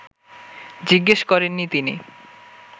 জিজ্ঞেস করেননি তিনি